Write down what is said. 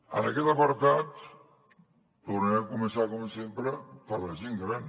en aquest apartat tornaré a començar com sempre per la gent gran